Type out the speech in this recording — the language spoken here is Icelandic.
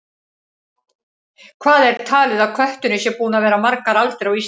Hvað er talið að kötturinn sé búinn að vera margar aldir á Íslandi?